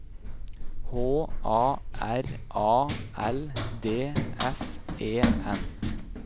H A R A L D S E N